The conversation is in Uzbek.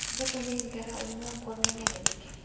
biz uni ilgari umuman ko‘rmagan edik.